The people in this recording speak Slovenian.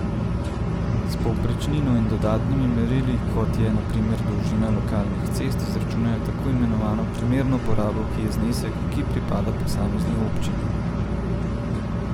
S povprečnino in dodatnimi merili, kot je, na primer, dolžina lokalnih cest, izračunajo tako imenovano primerno porabo, ki je znesek, ki pripada posamezni občini.